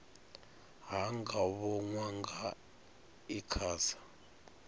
ha nga vhonwa nga icasa